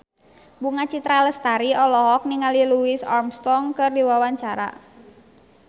Bunga Citra Lestari olohok ningali Louis Armstrong keur diwawancara